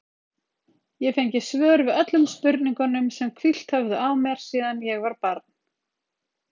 Ég fengi svör við öllum spurningunum sem hvílt höfðu á mér síðan ég var barn.